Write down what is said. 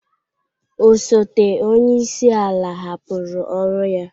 Osote onye isi ala hapụrụ ọrụ ya